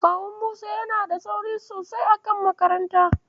Kawun Musa yana da tsauri sosai a kan makaranta.